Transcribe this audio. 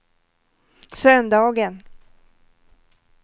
söndagen